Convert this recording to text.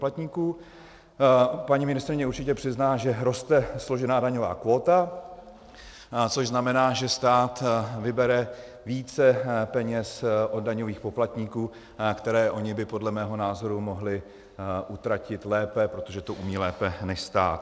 Paní ministryně určitě přizná, že roste složená daňová kvóta, což znamená, že stát vybere více peněz od daňových poplatníků, které oni by podle mého názoru mohli utratit lépe, protože to umí lépe než stát.